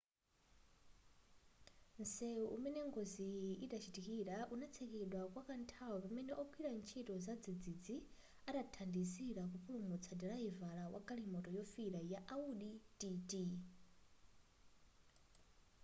msewu umene ngoziyi inachitikira unatsekedwa kwakanthawi pamene ogwira ntchito zadzidzidzi anathandizira kupulumutsa dilayivala mu galimoto yofira ya audi tt